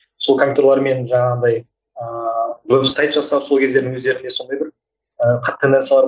сол компьютерлермен жаңағыдай ыыы веб сайт жасап сол кездің өздерінде сондай бір